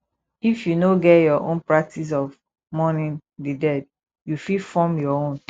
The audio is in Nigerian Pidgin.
if you no get your own practice of mourning di dead you fit form your own